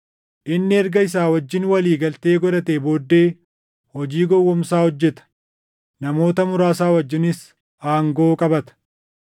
Inni erga isa wajjin walii galtee godhatee booddee hojii gowwoomsaa hojjeta; namoota muraasa wajjinis aangoo qabata.